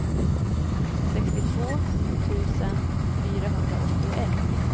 sextiotvå tusen fyrahundraåttioett